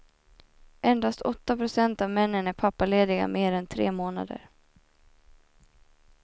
Endast åtta procent av männen är pappalediga mer än tre månader.